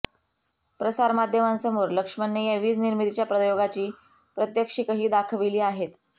प्रसारमाध्यमांसमोर लख्मणने या वीज निर्मितीच्या प्रयोगाची प्रत्यक्षिकही दाखवली आहेत